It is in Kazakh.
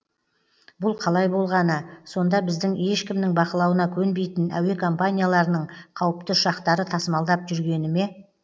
бұл қалай болғаны сонда бізді ешкімнің бақылауына көнбейтін әуе компанияларының қауіпті ұшақтары тасымалдап жүргені ме